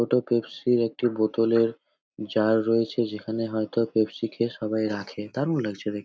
ওটা পেপসি -এর একটি বোতল এর জার রয়েছে যেখানে হয়তো পেপসি খেয়ে সবাই রাখে। দারুন লাগছে দেখ--